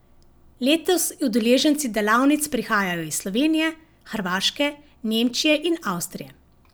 Letos udeleženci delavnic prihajajo iz Slovenije, Hrvaške, Nemčije in Avstrije.